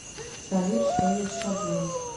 салют что есть шаблон